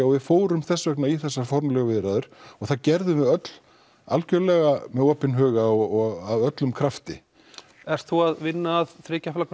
og við fórum þess vegna í þessar formlegu viðræður og það gerðum við öll algerlega með opinn huga og af öllum krafti ert þú að vinna að þriggja flokka